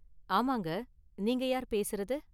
ஆமாங்க, நீங்க யார் பேசுறது?